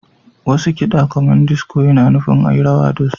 Wasu kiɗa kamar disico ana nufin a yi rawa da su.